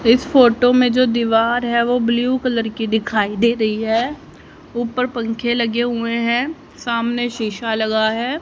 इस फोटो में जो दीवार है वो ब्लू कलर की दिखाई दे रही है ऊपर पंखे लगे हुए हैं सामने शीशा लगा है।